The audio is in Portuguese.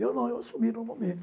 Eu não, eu assumi normalmente.